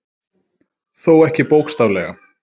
Þó ekki bókstaflega